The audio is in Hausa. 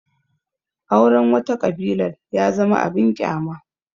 Auren wata ƙabilar ya zama abin ƙyama